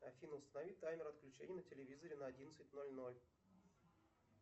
афина установи таймер отключения на телевизоре на одиннадцать ноль ноль